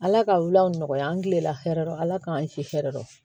Ala ka o nɔgɔya an tilenla hɛrɛ ala k'an si hɛrɛ o